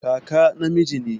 Kaka namiji ne